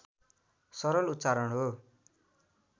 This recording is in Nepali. सरल उच्चारण हो